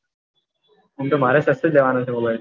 એમ તો મારે સસ્તો જ લેવાનો છે mobile